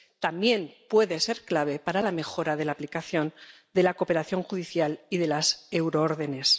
también puede ser clave para la mejora de la aplicación de la cooperación judicial y de las euroórdenes.